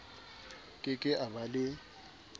ke ke a ba le